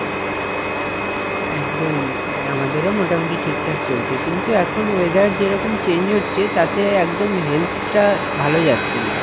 একদম আমাদের ও মোটামুটি ঠিকঠাক চলছে কিন্তু এখন weather যেরকম change হচ্ছে তাতে একদম health টা ভালো যাচ্ছেনা,